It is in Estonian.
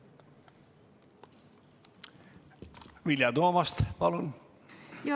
Vilja Toomast, palun!